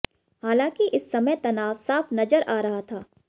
हालांकि इस समय तनाव साफ नजर आ रहा था